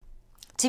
TV 2